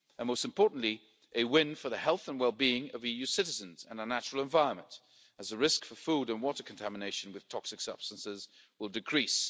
and, most importantly, a win for the health and well-being of EU citizens and our natural environment, as the risk of food and water contamination with toxic substances will decrease.